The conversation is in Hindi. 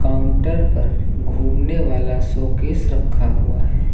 काउंटर पर घूमने वाला शोकेस रखा हुआ है।